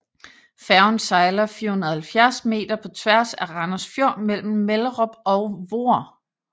Færgen sejler 470 meter på tværs af Randers Fjord mellem Mellerup og Voer